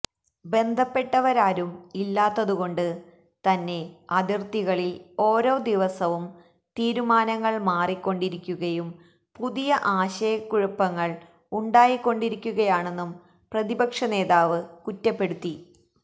ബന്ധപ്പെട്ടവരാരും ഇല്ലാത്തതുകൊണ്ട് തന്നെ അതിർത്തികളിൽ ഓരോ ദിവസവും തീരുമാനങ്ങൾ മാറിക്കൊണ്ടിരിക്കുകയും പുതിയ ആശയക്കുഴപ്പങ്ങൾ ഉണ്ടായിക്കൊണ്ടിരിക്കുകയാണെന്നും പ്രതിപക്ഷ നേതാവ് കുറ്റപ്പെടുത്തി